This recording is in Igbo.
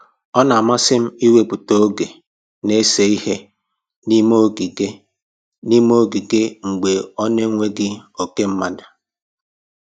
Ọ na-amasị m iwepụta oge na-ese ihe n'ime ogige n'ime ogige mgbe ọ na-enweghị oke mmadụ